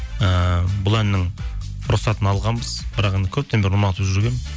ііі бұл әннің рұқсатын алғанбыз бірақ көптен бері ұнатып жүргенмін